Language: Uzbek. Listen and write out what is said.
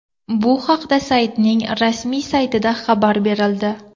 Bu haqda saytning rasmiy saytida xabar berildi .